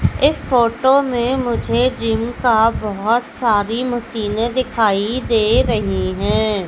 इस फोटो में मुझे जिम का बहुत सारी मशीने दिखाई दे रही है।